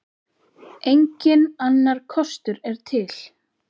Enginn annar kostur er til.